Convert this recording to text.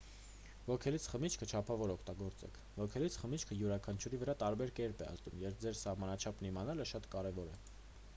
ոգելից խմիչքը չափավոր օգտագործեք ոգելից խմիչքը յուրաքանչյուրի վրա տարբեր կերպ է ազդում և ձեր սահմանաչափն իմանալը շատ կարևոր է